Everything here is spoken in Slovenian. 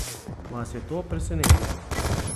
Vas je to presenetilo?